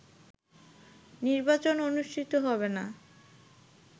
নির্বাচন অনুষ্ঠিত হবে না